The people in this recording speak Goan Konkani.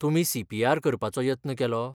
तुमी सी. पी. आर. करपाचो यत्न केलो?